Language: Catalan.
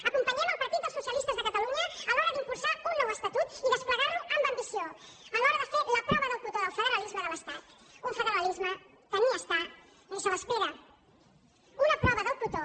acompanyem el partit dels socialistes de catalunya a l’hora d’impulsar un nou estatut i desplegar lo amb ambició a l’hora de fer la prova del cotó del federalisme de l’estat un federalisme que ni hi és ni se l’espera una prova del cotó